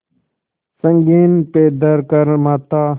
संगीन पे धर कर माथा